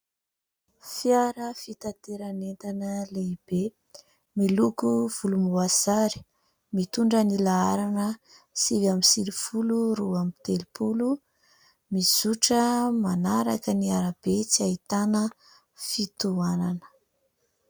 fiara fitateran'entana lehibe miloko volomboasary, mitondra ny laharana sivy amby sivifolo roa amby telopolo, mizotra manaraka ny arabe tsy hahitana fitohanana